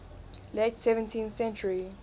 late seventeenth century